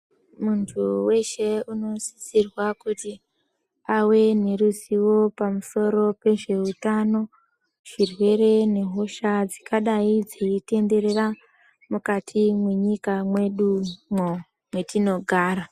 Muntu weshe unosisirwa kuti ave neruzivo pamusoro pezveutano, zvirwere nehosha ingadai yeitenderera mukati mwenyika mwedumwo mwetinogara.